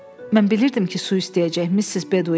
Mən bilirdim ki, su istəyəcək Missis Bedouin.